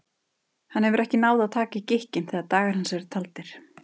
Ástin er blind, það er á hreinu, hugsaði hann og lét hugann reika.